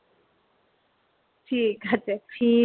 ঠিক আছে ঠিক আছে